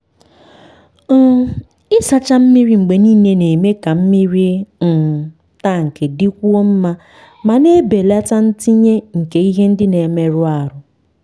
um ịsacha mmiri mgbe niile na-eme ka mmiri um tank dịkwuo mma ma na-ebelata ntinye nke ihe ndị na-emerụ ahụ.